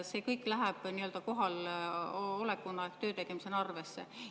See kõik läheb nii‑öelda kohaloleku ehk töötegemisena arvesse.